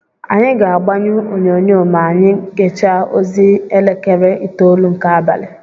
Anyị ga-agbanyụ onyonyo ma anyị gechaa ozi elekere itolu nke abalị.